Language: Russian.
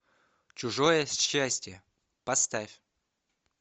чужое счастье поставь